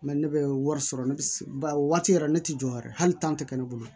ne bɛ wari sɔrɔ ne bɛ ba waati yɛrɛ ne tɛ jɔ wɛrɛ hali tan tɛ kɛ ne bolo